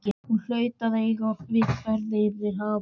Hún hlaut að eiga við ferð yfir haf frá